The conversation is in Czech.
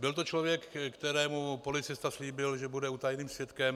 Byl to člověk, kterému policista slíbil, že bude utajeným svědkem.